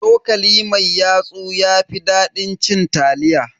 Cokali mai yatsu ya fi dadin cin taliya.